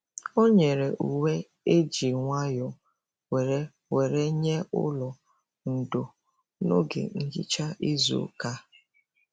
O nyere uwe eji nwayọ were were nye n'ụlọ ndo n'oge nhicha izu ụka ya.